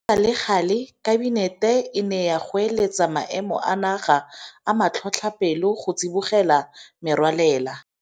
Go sa le gale Kabinete e ne ya goeletsa Maemo a Naga a Matlhotlhapelo go tsibogela merwalela.